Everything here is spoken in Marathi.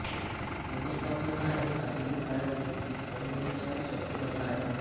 व्यवस्थापन हा एक आधुनिक काळातील परवलीचा शब्द बनला आहे